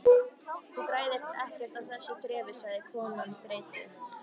Þú græðir ekkert á þessu þrefi sagði konan þreytu